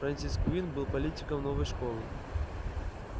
фрэнсис куинн был политиком новой школы